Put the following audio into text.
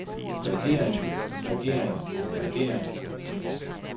regering regering regering